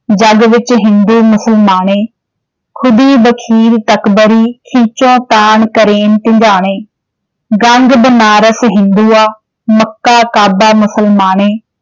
ਜਗ ਬਿਚਿ ਹਿੰਦੂ ਮੁਸਲਮਾਣੇ॥ ਖੁਦੀ ਬਖੀਲਿ, ਤਕਬਰੀ, ਖਿੱਚੋਤਾਣ ਕਰਨਿ ਸਿਙਾਣੇ ॥ ਗੰਗ, ਬਨਾਰਸਿ, ਹਿੰਦੂਆਂ, ਮਕਾ-ਕਾਬਾ ਮੁਸਲਮਾਣੇ ॥